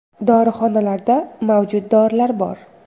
Dorixonalarda mavjud dorilar bor.